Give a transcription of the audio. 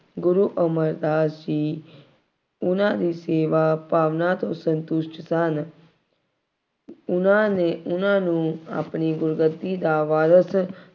ਗੁਰੂ ਅਮਰਦਾਸ ਜੀ, ਉਹਨਾ ਦੀ ਸੇਵਾ ਭਾਵਨਾ ਤੋਂ ਸੰਤੁਸ਼ਟ ਸਨ। ਉਹਨਾ ਨੇ, ਉਹਨਾ ਨੂੰ ਆਪਣੀ ਗੁਰਗੱਦੀ ਦਾ ਵਾਰਿਸ